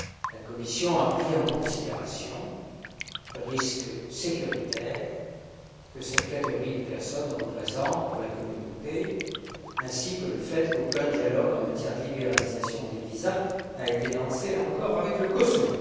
La Commission a pris en considération le risque sécuritaire que cette catégorie de personnes représente pour la Communauté, ainsi que le fait qu'aucun dialogue en matière de libéralisation des visas n'a encore été lancé avec le Kosovo.